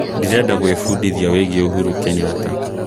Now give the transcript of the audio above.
ndĩreda gwĩ mbũndĩthĩa wĩĩgĩe Uhuru Kenyatta